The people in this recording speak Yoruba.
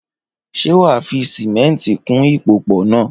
Ṣé wà á fi sìmẹ́ńtì kún ìpòpọ̀ náà?